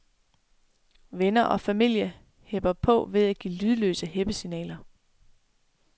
Venner og familie hepper på ved at give lydløse heppesignaler.